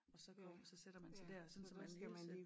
Og så går så sætter man sig dér sådan så man hele tiden